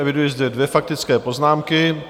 Eviduji zde dvě faktické poznámky.